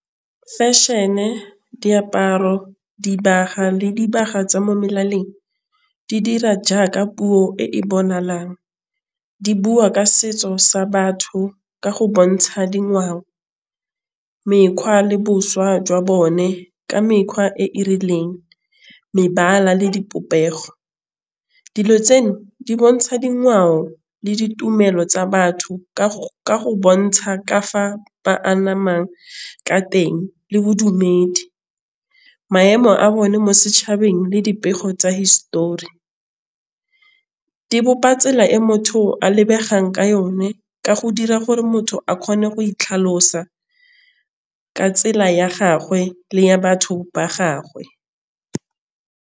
Fashion-e, diaparo, dibaga le dibaga tsa mo molaleng di dira jaaka puo e di bua ka setso sa batho ka go bontsha dingwao mekgwa le bošwa jwa bone ka mekgwa e e rileng mebala le dipopego. Dilo tseno di bontšha dingwao le ditumelo tsa batho ka go bontšha ka fa ba anamang ka teng le bodumedi. Maemo a bone mo setšhabeng le dipego tsa hisetori. Di bopa tsela e motho a lebegang ka yone ka go dira gore motho a kgone go itlhalosa ka tsela ya gagwe le ya batho ba gagwe.